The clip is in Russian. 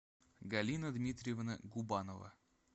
галина дмитриевна губанова